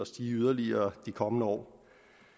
stige yderligere de kommende år